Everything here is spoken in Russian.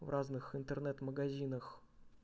в разных интернет-магазинах